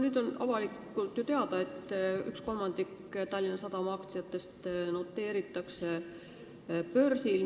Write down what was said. Nüüd on avalikult teada, et 1/3 Tallinna Sadama aktsiatest noteeritakse börsil.